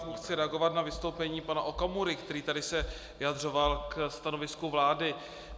Chci reagovat na vystoupení pana Okamury, který se tady vyjadřoval ke stanovisku vlády.